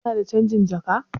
Kana da canjin jaka?